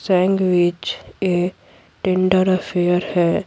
Sandwich a tender affair है।